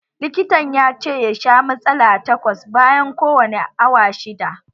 Likitan ya ce ya sha matsala takwas bayan kowani awa shidda